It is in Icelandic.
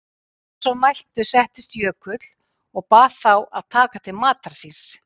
Að svo mæltu settist Jökull og bað þá að taka til matar síns.